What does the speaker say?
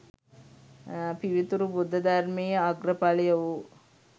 පිවිතුරු බුද්ධ ධර්මයේ අග්‍ර ඵලය වූ